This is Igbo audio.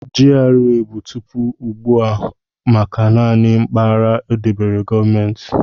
GRA bụ tupu ugbu a maka naanị mpaghara edobere gọọmentị.